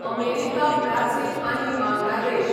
America Brazil आनी बांगलादेश